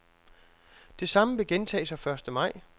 Det samme vil gentage sig første maj.